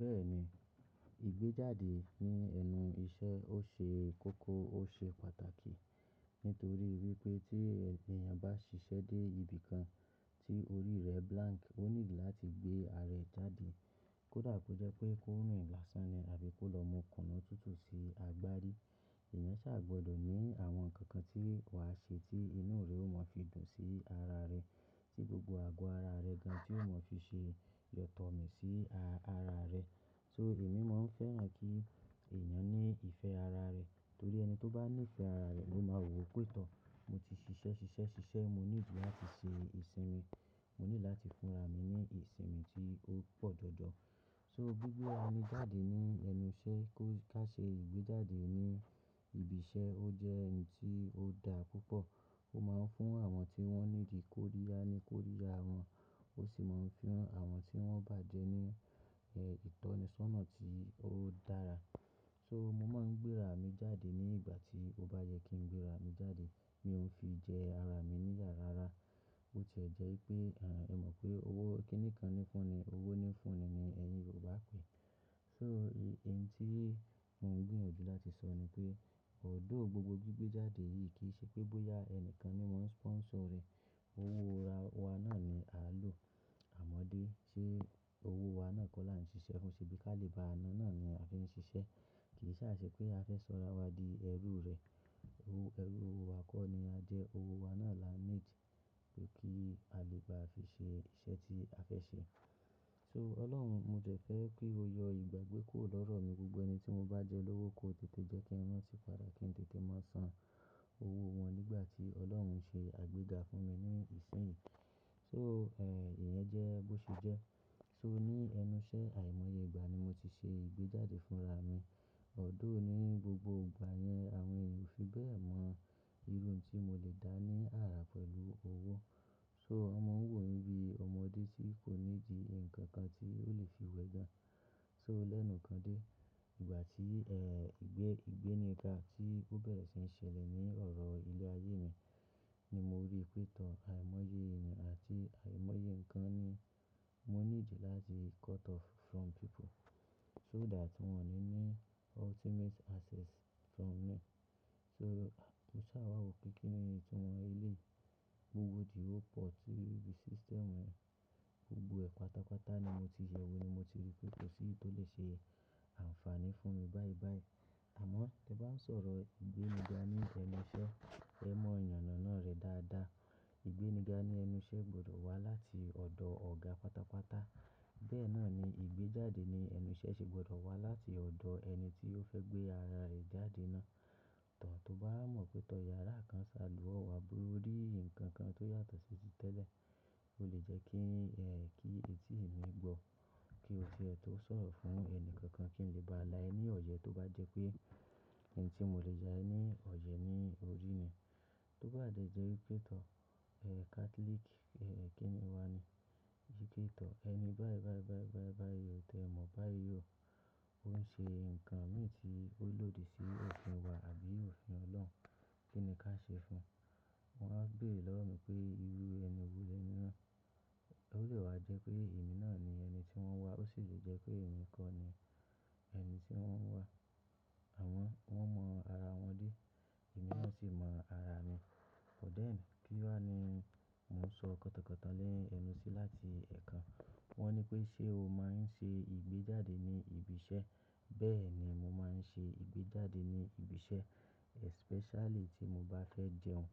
Bẹ́ẹ̀ni, ìgbéjáde ní ẹnu iṣẹ́ ó ṣe kókó ó ṣe pàtàkì nítorí wípé tí ènìyàn bá ṣiṣẹ́ dé ibìkan tí orí rẹ̀ blank, ó nílò láti gbé ara rẹ̀ jáde. Kódà kó jẹ́ pé kó rùn ìgbásàmí àbí kó lọ mú kùnú tútù sí agbárí. Èèyàn ṣà gbọdọ̀ ní àwọn nǹkan kan tí wàá ṣe tí inú rẹ̀ ó mọ fi dùn sí ara rẹ̀, tí gbogbo àgọ́ ara rẹ̀ gan tí ó mọ fi ṣe yọ̀tọ̀ mí sí ara rẹ̀. So èmi mo ń fẹ́ràn kí èèyàn ní ìfẹ́ ara rẹ̀ torí ẹni tó bá ní ìfẹ́ ara rẹ̀ ló máa wò ó pé tọ́. Mo ti ṣiṣẹ́ ṣiṣẹ́ ṣiṣẹ́ mo nílò láti ṣe ìsinmi, mo ní láti fúnra mi ní ìsinmi tí ó pọ̀ jọjọ. So gbígbé ara ní jáde ní ẹnu iṣẹ́ kó ká ṣe ìgbéjáde ní ibi iṣẹ́ ó jẹ́ ẹni tí ó da púpọ̀. Ó máa ń fún àwọn tí wọ́n nídi kó ríyá ni kó ríyá wọn, ó sì máa ń fún àwọn tí wọ́n bàjẹ́ ní ìtọ́nisọ́nà tí ó dára. So mo máa ń gbé ara mi jáde ní ìgbà tí ó bá yẹ kí n gbé ara mi jáde. Mi ò n fi jẹ ara mi níyàrá rárá. Ó ti jẹ́ pé, rẹ mọ̀ pé owó kí nìkan ni fúnni, owó ni fúnni ni ẹ̀yin Yorùbá pè é. So èyí tí mo ń gbìyànjú láti sọ ni pé although gbogbo gbígbé jáde yìí kì í ṣe pé bóyá ẹni kan ni wọ́n sponsor rẹ̀, owó wa náà ni à ń lò. Àmọ́dé ṣe owó wa náà kó là ń ṣiṣẹ́ fún ṣe bí kálì bá a ná náà ni a fi ń ṣiṣẹ́. Kì í sá ṣe pé a fẹ́ sọ̀rọ̀ awadii ẹrú rẹ̀. Owó ẹrú owó wa kọ́ ni a jẹ́ owó wa náà là ń need pé kí a lè bá fi ṣe iṣẹ́ tí a fẹ́ ṣe. So Ọlọ́run mo jẹ̀ fẹ́ pé ó yọ ìgbàgbé kó lọ́rọ̀ mi, gbogbo ẹni tí mo bá jẹ olówó kó tètè jẹ́ kí wọn sì padà kí n tètè má san owó wọn nígbà tí Ọlọ́run ń ṣe àgbéga fún mi ní ìsinmi. So, èyẹn jẹ́ bó ṣe jẹ́. So ní ẹnu iṣẹ́ àìmọye ìgbà ni mo ti ṣe ìgbéjáde fúnra mi. Ọ̀dọ̀ òní gbogbo ìgbà yẹn àwọn èèyàn ò fi bẹ́ẹ̀ mọ irun tí mo lè dá ní àrà pẹ̀lú owó. So Wón mà ń wò mí bí ọmọdé tí kò nídìí nǹkan kan tí ó lè fi wẹ gan. So lẹ́nu kan dé, ìgbà tí ìgbẹ́ ìgbéniga tí ó bẹ̀rẹ̀ sí ń ṣẹlẹ̀ ní ọ̀rọ̀ ilé ayé mi ni mo rí pé tọ́ àìmọye ìrìn àti àìmọye nǹkan ni mo ní ìdí láti cut off from people so that wọ́n lè ní ultimate access from me. So mo sá wà wò kí kí ni ìtú wọn lè gbé wò díwọ́ pọ̀ tí ibi system wọn gbogbo ẹ̀ pátápátá ni mo ti yẹ̀wò ni mo ti rí pé kò sí tó lè ṣe àǹfààní fún mi báyìí báyìí. Àmọ́ tí wọ́n ń sọ̀rọ̀ ìgbéniga ní ẹnu iṣẹ́, ẹ mọ yànà náà rẹ dáadáa. Ìgbéniga ní ẹnu iṣẹ́ gbọdọ̀ wá láti ọ̀dọ̀ ọ̀gá pátápátá. Bẹ́ẹ̀ náà ni ìgbéjáde ní ẹnu iṣẹ́ ṣe gbọdọ̀ wá láti ọ̀dọ̀ ẹni tí ó fẹ́ gbé ara rẹ̀ jáde náà. Tàn tó bá mọ̀ pé tọ́ yàrá kan ń ṣàlù ọ̀ọ́ àbí rí nǹkan kan tó yàtọ̀ sí ti tẹ́lẹ̀, ó lè jẹ́ kí etí mi gbọ́ kí ó tó sọ̀rọ̀ fún ẹni kankan kí n lè bá a láìní ọ̀yẹ́ tó bá jẹ́ pé ẹni tí mò lè ya ní ọ̀yẹ́ ní orí ni. Tó bá dé jẹ́ pé tọ́ Catholic, kí ni wá ni? Ìdí pé tọ́ ẹni báyìí báyìí báyìí báyìí báyìí tẹ mọ̀ báyìí o, ó ń ṣe nǹkan míì tí ó lòdì sí ẹ̀sìn wa àbí òfin Ọlọ́run. Kí ni ká ṣe fún un? Wọn á béèrè lọ́wọ́ mi pé irú ẹni wò lé ní náà? Ó lè wá jẹ́ pé èmi náà ni ẹni tí wọ́n wà, ó sì lè jẹ́ pé èmi kọ́ ni ẹni tí wọ́n ń wà. Àwọn wọ́n mọ ara wọn dé, èmi náà sì mọ ara mi. But then kí wà ni mò ń sọ kọ̀tọ̀kọ̀tọ̀ lẹ́nu sí láti ẹ̀ẹ̀kan. Wọn ní pé ṣé o máa ń ṣe ìgbéjáde ní ibi iṣẹ́? Bẹ́ẹ̀ ni mo máa ń ṣe ìgbéjáde ní ibi iṣẹ́ especially tí mo bá fẹ́ jẹun.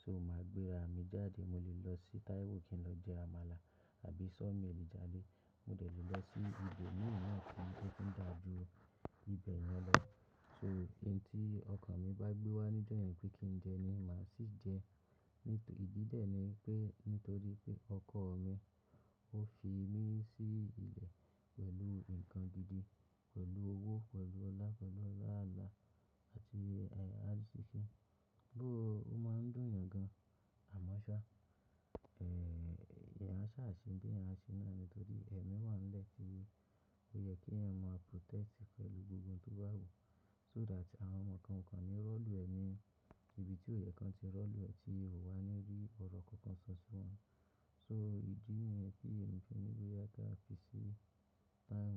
So màá gbé ara mi jáde mo lè lọ sí Taiwo kí n lọ jẹ àmàlà àbí Sawmill jàre Mo dẹ̀ lè lọ sí ibo míràn tó tún dà jú ibẹ̀ yẹn lọ. So ohun tí ọkàn mi bá gbé wá níjẹ́yìn pé kí n jẹ́ ní má sì jẹ́. Nítorí ìdí lè ni pé nítorí pé ọkọ̀ mi ó fi mí sí ilẹ̀ pẹ̀lú nǹkan gidi, pẹ̀lú owó, pẹ̀lú ọlá, pẹ̀lú ọlá ààlà àti àrisiki Gbé ó máa ń dùn yàn gan, àmọ́ ṣá, èyẹn a sá ṣe dé ẹ ṣe náà ni nítorí ẹ̀mí wà nílẹ̀ tí ó yẹ kí ẹ̀mí má protest pẹ̀lú gbogbo ohun tó bá wù so that àwọn ọmọ kan kan ni rọ́lù ẹ ní ibi tí ó yẹ kí wọn ti rọ́lù ẹ tí wọn wà níbí ọ̀rọ̀ kan kan sọ sí wọn. So ìdí yẹn pé èmi fi ní bóyá ká fi ṣe time.